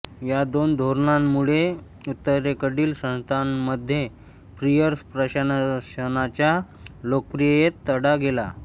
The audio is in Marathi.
या दोन धोरणांमुळे उत्तरेकडील संस्थानांमध्ये पियर्स प्रशासनाच्या लोकप्रियतेस तडा गेला